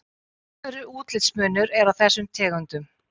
Talsverður útlitsmunur er á þessum tegundum.